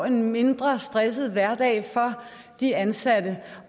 en mindre stresset hverdag for de ansatte